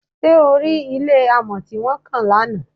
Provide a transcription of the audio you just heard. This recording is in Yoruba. Ṣé o rí ilé amọ̀ tí wọ́n kàn lánàá?